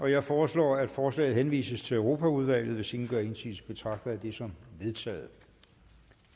jeg foreslår at forslaget henvises til europaudvalget hvis ingen gør indsigelse betragter jeg det som vedtaget